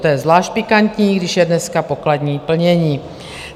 To je zvlášť pikantní, když je dneska pokladní plnění.